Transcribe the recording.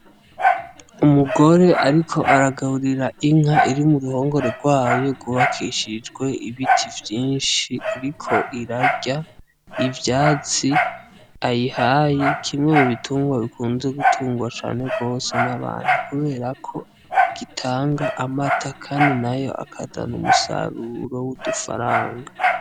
Umugore ariko aragaburira inka iri mu ruhongore rwayo rwubakishijwe ibiti vyinshi, iriko irarya ivyatsi ayihaye. Kimwe mu bitungwa bikunze gutungwa cane gose n'abantu kubera ko gitanga amata kandi nayo akazana umusaruro w'udufaranga.